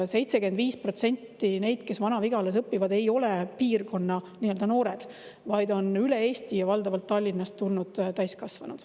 75% neist, kes Vana-Vigalas õpivad, ei ole piirkonna noored, vaid on üle Eesti ja valdavalt Tallinnast tulnud täiskasvanud.